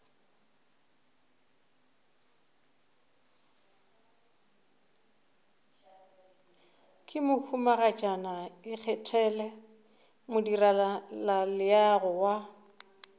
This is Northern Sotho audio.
ke mohumagatšana ikgethele modirelaleago wa